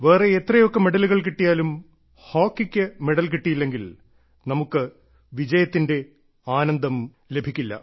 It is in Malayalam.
വേറെ എത്രയൊക്കെ മെഡലുകൾ കിട്ടിയാലും ഹോക്കിക്ക് മെഡൽ കിട്ടിയില്ലെങ്കിൽ നമുക്ക് വിജയത്തിന്റെ ആനന്ദം ലഭിക്കില്ല